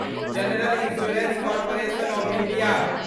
general insurance corporation of India